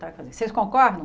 Vocês concordam?